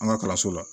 An ka kalanso la